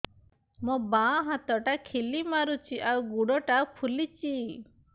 ମୋ ବାଆଁ ହାତଟା ଖିଲା ମାରୁଚି ଆଉ ଗୁଡ଼ ଟା ଫୁଲୁଚି